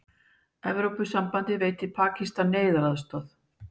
Evrópusambandið veitir Pakistan neyðaraðstoð